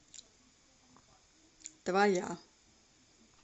твоя